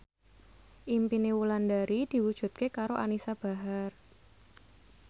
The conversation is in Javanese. impine Wulandari diwujudke karo Anisa Bahar